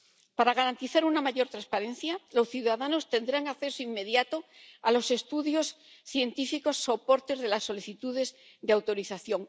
Para garantizar una mayor transparencia, los ciudadanos tendrán acceso inmediato a los estudios científicos, soportes de las solicitudes de autorización